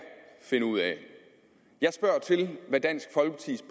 finde ud af jeg spørger til hvad dansk folkepartis